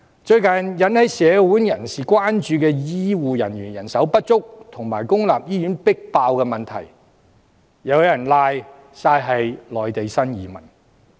最近引起社會人士關注的醫護人員人手不足及公立醫院擠迫的問題，又有人諉過於內地新移民。